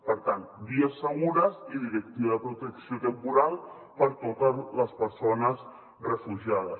per tant vies segures i directiva de protecció temporal per a to·tes les persones refugiades